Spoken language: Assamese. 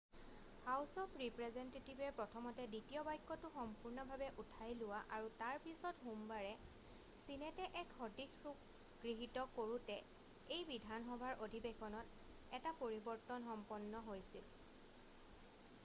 হাউচ অফ ৰিপ্ৰেজেন্টেটিভে প্ৰথমতে দ্বিতীয় বাক্যটো সম্পূৰ্ণভাৱে উঠাই লোৱা আৰু তাৰ পিছত সোমবাৰে ছিনেটে এক সদৃশ ৰূপ গৃহীত কৰোতে এই বিধানসভাৰ অধিৱেশনত এটা পৰিৱৰ্তন সম্পন্ন হৈছিল